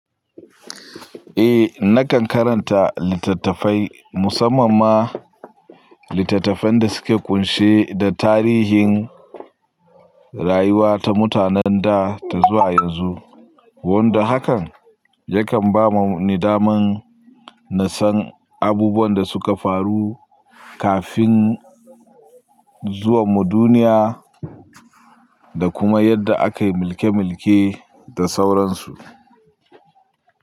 Eh, nakan karanta littattafai musamman ma littattafan da suke ƙunshe da tarihin rayuwa ta mutanen da ta zuwa yanzu, wanda hakan yakan ba ni daman na san abubuwan da suka faru kafin zuwanmu duniya da kuma yadda aka yi mulke mulke da sauransu.